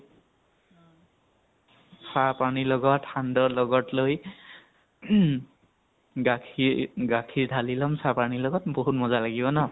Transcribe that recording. চাহ পানী লগত, সান্দহ লগত লৈ, গাখীৰ গাখীৰ ধালি লʼম চাহ পানী ৰ লগত, বহুত মযা লাগিব ন ?